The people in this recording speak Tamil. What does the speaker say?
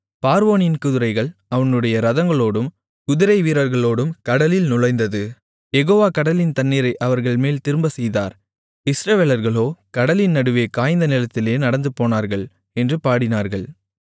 பார்வோனின் குதிரைகள் அவனுடைய இரதங்களோடும் குதிரைவீரர்களோடும் கடலில் நுழைந்தது யெகோவா கடலின் தண்ணீரை அவர்கள்மேல் திரும்பச்செய்தார் இஸ்ரவேலர்களோ கடலின் நடுவே காய்ந்த நிலத்திலே நடந்துபோனார்கள் என்று பாடினார்கள்